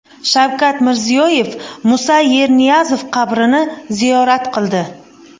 Shavkat Mirziyoyev Musa Yerniyazov qabrini ziyorat qildi.